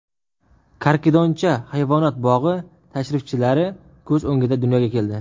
Karkidoncha hayvonot bog‘i tashrifchilari ko‘z o‘ngida dunyoga keldi.